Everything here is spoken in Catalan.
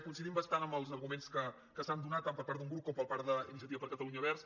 coincidim bastant en els arguments que s’han donat tant per part del grup com per part d’iniciativa per catalunya verds